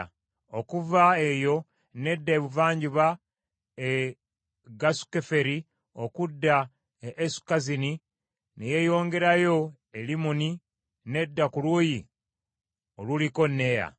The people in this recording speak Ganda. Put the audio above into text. Okuva eyo n’edda ebuvanjuba e Gasukeferi, okudda e Esukazini; ne yeeyongerayo e Limmoni, n’edda ku luuyi oluliko Nea.